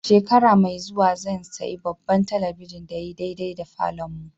Shekara mai zuwa zan siya babban telibijin da ya yi daidai da falon mu.